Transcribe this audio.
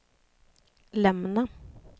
lämna